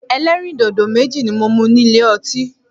Ẹlẹ́rìndòdò méjì ni mo mu ní ilé ọtí.